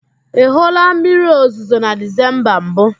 Ị hụụla mmiriozuzo na Dizemba mbụ?